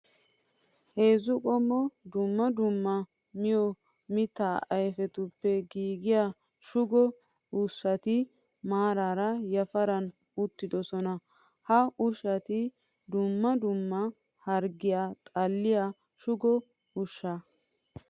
Heezzu qommo dumma dumma miyo mitta ayfiyappe giiggiya shugo ushshatti maarar yafaran uttidosonna. Ha ushshatti dumma dumma harggiya xalliya shuggo ushsha.